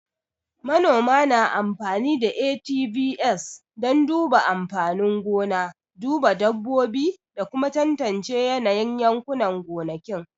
Manoma na amfani da ATVs don duba amfanin gona, duba dabbobi, da kuma tantance yanayin yankunan gonakin